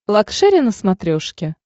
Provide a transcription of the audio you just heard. лакшери на смотрешке